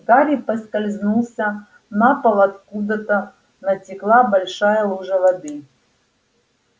гарри поскользнулся на пол откуда-то натекла большая лужа воды